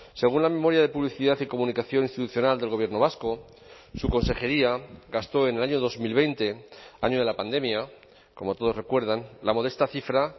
según la memoria de publicidad y comunicación institucional del gobierno vasco su consejería gastó en el año dos mil veinte año de la pandemia como todos recuerdan la modesta cifra